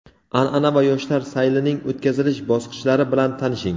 an’ana va yoshlar saylining o‘tkazilish bosqichlari bilan tanishing!.